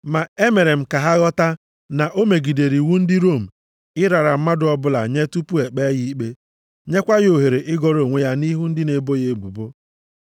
“Ma emere m ka ha ghọta na o megidere iwu ndị Rom ịrara mmadụ ọbụla nye tupu ekpee ya ikpe nyekwa ya ohere ịgọrọ onwe ya nʼihu ndị na-ebo ya ebubo.